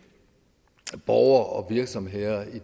borgere og virksomheder i